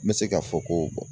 N bɛ se k'a fɔ ko